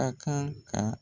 A kan ka